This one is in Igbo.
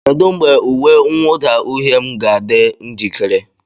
Kedu mgbe uwe mwụda uhie m ga-adị njikere?